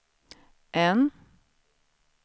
N